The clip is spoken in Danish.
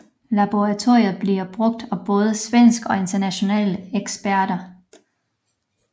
Laboratoriet bliver brugt af både svenske og internationale eksperter